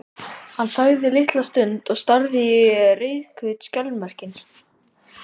Hann þagði litla stund og starði á rauðhvít skjaldarmerkin.